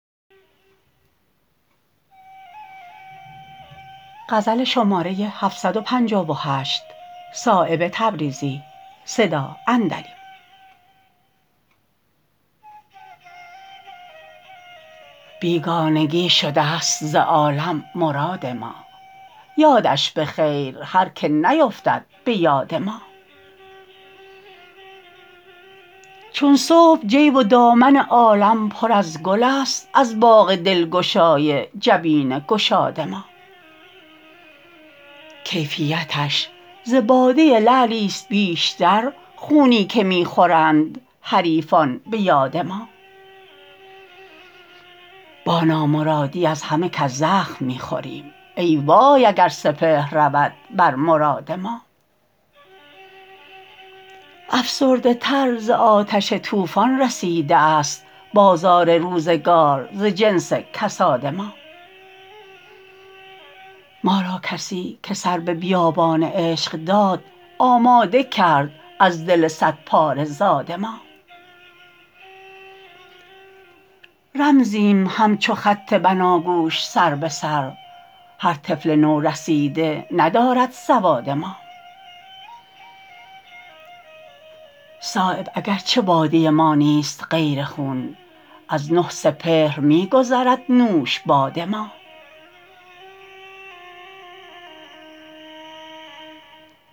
بیگانگی شده است ز عالم مراد ما یادش به خیر هر که نیفتد به یاد ما چون صبح جیب و دامن عالم پر از گل است از باغ دلگشای جبین گشاد ما کیفیتش ز باده لعلی است بیشتر خونی که می خورند حریفان به یاد ما با نامرادی از همه کس زخم می خوریم ای وای اگر سپهر رود بر مراد ما افسرده تر ز آتش طوفان رسیده است بازار روزگار ز جنس کساد ما ما را کسی که سر به بیابان عشق داد آماده کرد از دل صدپاره زاد ما رمزیم همچو خط بناگوش سر به سر هر طفل نورسیده ندارد سواد ما صایب اگر چه باده ما نیست غیر خون از نه سپهر می گذرد نوش باد ما